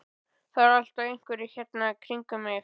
Það eru alltaf einhverjir hérna í kringum mig.